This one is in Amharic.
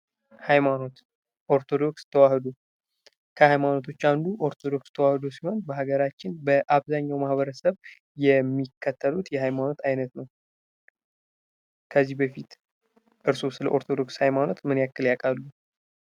ሃይማኖት ኦርቶዶክስ ተዋህዶ ሃይማኖቶች አንዱ ኦርቶዶክስ ተዋህዶ ሲሆን በሀገራችን በአብዛኛው ማህበረሰብ የሚከተሉት የሃይማኖት አይነት ነው። ከዚህ በፊት ስለ ኦርቶዶክስ ሀይማኖት ምን ያክል ያቃሉ?